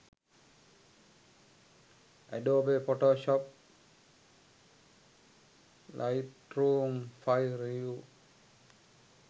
adobe photoshop lightroom 5 review